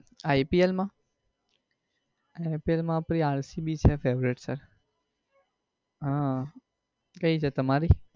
ipl માં? ipl આપડી rcbfavourite છે આહ કઈ છે તમારી?